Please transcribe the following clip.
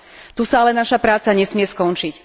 Tu sa ale naša práca nesmie skončiť.